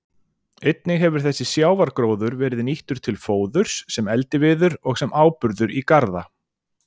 Einnig hefur þessi sjávargróður verið nýttur til fóðurs, sem eldiviður og sem áburður í garða.